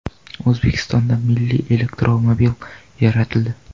O‘zbekistonda milliy elektromobil yaratildi.